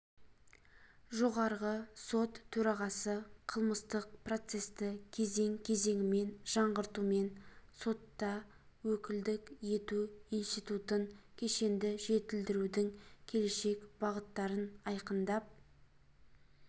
жоғарғы сот төрағасы қылмыстық процесті кезең-кезеңімен жаңғыртумен сотта өкілдік ету институтын кешенді жетілдірудің келешек бағыттарын айқындап